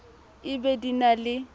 e be di na le